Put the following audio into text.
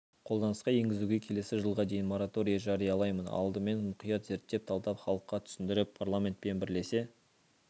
қолданысқа енгізуге келесі жылға дейін мораторий жариялаймын алдымен мұқият зерттеп талдап халыққа түсіндіріп парламентпен бірлесе